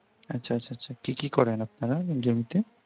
আচ্ছা, আচ্ছা আচ্ছা কি কি করেন আপনারা জমিতে?